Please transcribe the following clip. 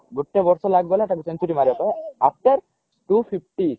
ଗୋଟେ ବର୍ଷ ଲାଗିଗଲା ତାକୁ century ମାରିବାକୁ after two fifty